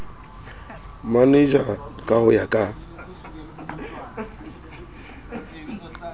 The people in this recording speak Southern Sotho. manager ka ho ya ka